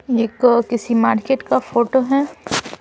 एक किसी मार्केट का फोटो है ।